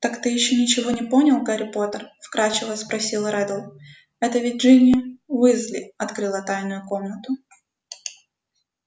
так ты ещё ничего не понял гарри поттер вкрадчиво спросил реддл это ведь джинни уизли открыла тайную комнату